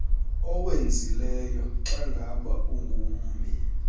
owenzileyo xangaba ungummi